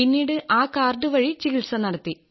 പിന്നീട് ആ കാർഡ് വഴി ചികിത്സ നടത്തി